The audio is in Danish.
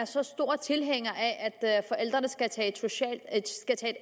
så stor tilhænger af at forældrene skal tage et